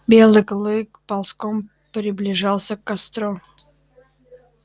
белый клык ползком приближался к костру